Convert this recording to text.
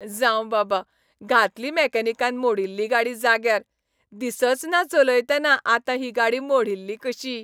जावं बाबा, घातली मेकॅनिकान मोडिल्ली गाडी जाग्यार, दिसचना चलयतना आतां ही गाडी मोडिल्ली कशी.